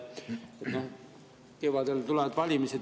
kevadel tulevad valimised.